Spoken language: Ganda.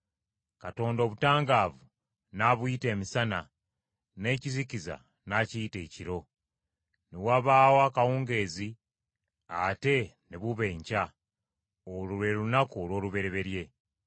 Katonda obutangaavu n’abuyita emisana, n’ekizikiza n’akiyita ekiro. Ne wabaawo akawungeezi ate ne buba enkya. Olwo lwe lunaku olw’olubereberye.